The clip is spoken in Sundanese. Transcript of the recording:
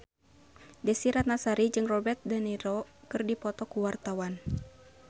Desy Ratnasari jeung Robert de Niro keur dipoto ku wartawan